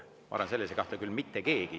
Ma arvan, et selles ei kahtle küll mitte keegi.